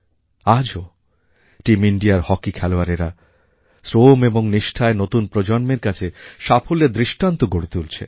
আজও টিম ইন্ডিয়ার হকি খেলোয়াড়েরা শ্রম ও নিষ্ঠায় নতুন প্রজন্মের কাছে সাফল্যের দৃষ্টান্ত গড়ে তুলছে